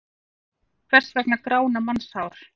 Hvers vegna grána mannshár?